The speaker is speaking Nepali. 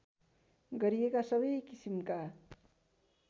गरिएका सबै किसिमका